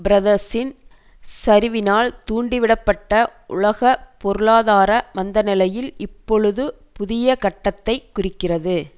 பிரதர்ஸின் சரிவினால் தூண்டிவிடப்பட்ட உலக பொருளாதார மந்தநிலையில் இப்பொழுது புதிய கட்டத்தை குறிக்கிறது